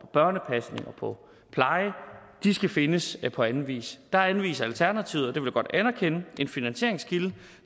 børnepasning og på pleje skal findes på anden vis der anviser alternativet og det vil jeg godt anerkende en finansieringskilde